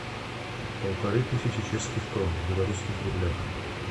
полторы тысячи чешских крон в белорусских рублях